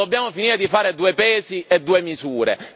La dobbiamo finire di fare due pesi e due misure!